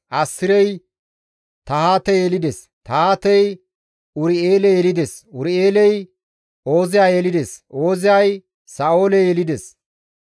Assirey Tahaate yelides; Tahaatey Ur7eele yelides; Ur7eeley Ooziya yelides; Ooziyay Sa7oole yelides.